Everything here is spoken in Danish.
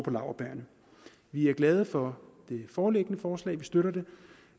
på laurbærrene vi er glade for det foreliggende forslag og støtter det